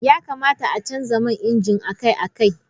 Ya kamata a canza man inji akai-akai.